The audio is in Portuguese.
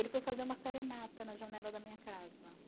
Ele foi fazer uma serenata na janela da minha casa